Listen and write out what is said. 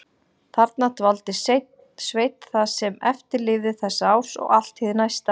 Þarna dvaldi Sveinn það sem eftir lifði þessa árs og allt hið næsta.